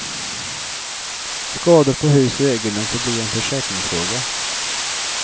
Skador på hus och egendom får bli en försäkringsfråga.